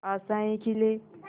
आशाएं खिले